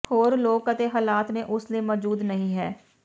ਹੋਰ ਲੋਕ ਅਤੇ ਹਾਲਾਤ ਨੇ ਉਸ ਲਈ ਮੌਜੂਦ ਨਹੀ ਹੈ